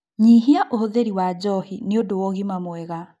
Nyihia ũhũthĩri wa njohi nĩũndũ wa ũgima mwega